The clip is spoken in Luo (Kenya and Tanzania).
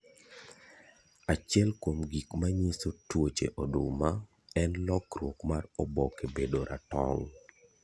Achiel kuom gik ma nyiso twoche oduma en lokrwok mar oboke bedo ratong'.